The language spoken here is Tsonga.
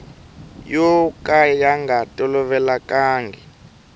yo ka ya nga tolovelekanga